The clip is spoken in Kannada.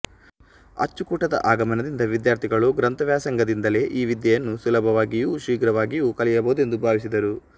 ಅಚ್ಚುಕೂಟದ ಆಗಮನದಿಂದ ವಿದ್ಯಾರ್ಥಿಗಳು ಗ್ರಂಥ ವ್ಯಾಸಂಗದಿಂದಲೇ ಈ ವಿದ್ಯೆಯನ್ನು ಸುಲಭವಾಗಿಯೂ ಶೀಘ್ರವಾಗಿಯೂ ಕಲಿಯಬಹುದೆಂದು ಭಾವಿಸಿದರು